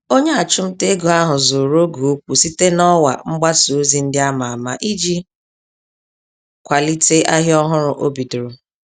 Onye achụmntaego ahụ zụrụ oge ókwú site n'ọwa mgbasa ozi ndị àmà-àmà iji kwalite ahịa ọhụrụ o bidoro.